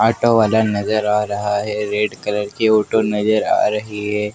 auto वाला नज़र आ रहा है रेड कलर की ऑटो नज़र आ रही है